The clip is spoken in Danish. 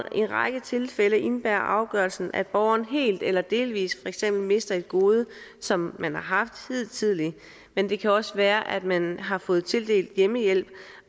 i en række tilfælde indebærer afgørelsen at borgeren helt eller delvis mister et gode som man har haft hidtil men det kan også være at man har fået tildelt hjemmehjælp